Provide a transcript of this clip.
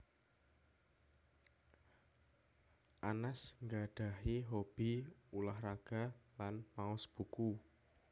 Anas nggadhahi hobby ulah raga lan maos buku